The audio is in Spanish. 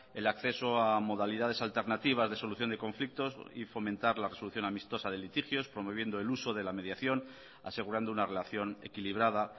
el acceso a modalidades alternativas de solución de conflictos y fomentar la resolución amistosa de litigios promoviendo el uso de la mediación asegurando una relación equilibrada